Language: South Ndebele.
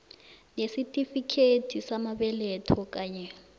nesitifikethi samabeletho kanye